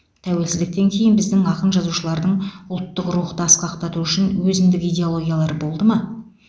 тәуелсіздіктен кейін біздің ақын жазушылардың ұлттық рухты асқақтату үшін өзіндік идеологиялары болды ма